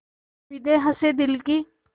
उम्मीदें हसें दिल की